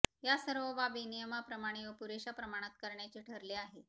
यासर्व बाबी नियमाप्रमाणे व पुरेशा प्रमाणात करण्याचे ठरले आहे